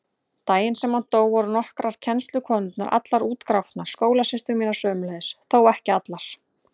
Daginn sem hann dó voru nokkrar kennslukonurnar allar útgrátnar, skólasystur mínar sömuleiðis, þó ekki allar.